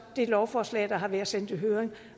det lovforslag der har været sendt i høring